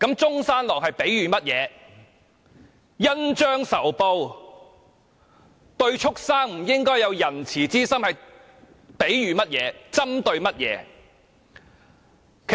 他說的恩將仇報，對畜牲不應有仁慈之心，又是比喻甚麼、針對甚麼？